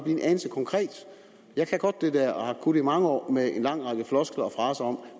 en anelse konkret jeg kan godt det der og har kunnet det i mange år med en lang række floskler og fraser om